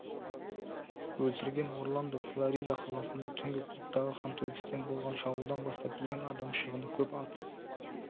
өлтірген орландо флорида қаласында түнгі клубтағы қантөгістен болған шабуылдан бастап ең адам шығыны көп атыс